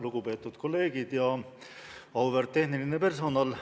Lugupeetud kolleegid ja auväärt tehniline personal!